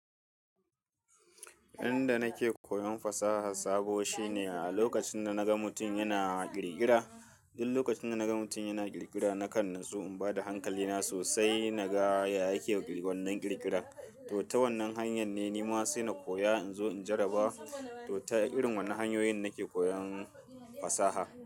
Inda nake koyon fasaha sabo shine a lokacin da naga mutum yana ƙirƙira. Duk lokacin da naga mutum yana ƙirƙira, nakan natsu in bada hankalina sosai naga ya yake wannan ƙirƙira. To, ta wannan hanyar ne nima sai na koya in zo in jarraba. To, ta irin wannan hanyoyin nake koyon fasaha.